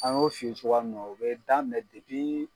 An y'o f'i ye cogoya min na u bɛ daminɛ debi